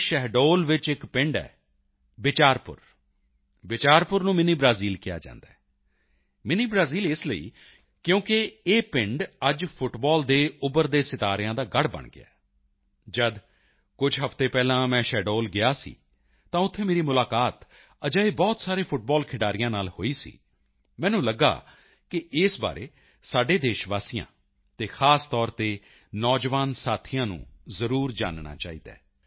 ਦੇ ਸ਼ਹਡੋਲ ਵਿੱਚ ਇੱਕ ਪਿੰਡ ਹੈ ਬਿਚਾਰਪੁਰ ਬਿਚਾਰਪੁਰ ਨੂੰ ਮਿੰਨੀ ਬ੍ਰਾਜ਼ੀਲ ਕਿਹਾ ਜਾਂਦਾ ਹੈ ਮਿੰਨੀ ਬ੍ਰਾਜ਼ੀਲ ਇਸ ਲਈ ਕਿਉਂਕਿ ਇਹ ਪਿੰਡ ਅੱਜ ਫੁੱਟਬਾਲ ਦੇ ਉੱਭਰਦੇ ਸਿਤਾਰਿਆਂ ਦਾ ਗੜ੍ਹ ਬਣ ਗਿਆ ਹੈ ਜਦ ਕੁਝ ਹਫ਼ਤੇ ਪਹਿਲਾਂ ਮੈਂ ਸ਼ਹਡੋਲ ਗਿਆ ਸੀ ਤਾਂ ਉੱਥੇ ਮੇਰੀ ਮੁਲਾਕਾਤ ਅਜਿਹੇ ਬਹੁਤ ਸਾਰੇ ਫੁੱਟਬਾਲ ਖਿਡਾਰੀਆਂ ਨਾਲ ਹੋਈ ਸੀ ਮੈਨੂੰ ਲਗਿਆ ਕਿ ਇਸ ਬਾਰੇ ਸਾਡੇ ਦੇਸ਼ਵਾਸੀਆਂ ਅਤੇ ਖਾਸ ਤੌਰ ਤੇ ਨੌਜਵਾਨ ਸਾਥੀਆਂ ਨੂੰ ਜ਼ਰੂਰ ਜਾਨਣਾ ਚਾਹੀਦਾ ਹੈ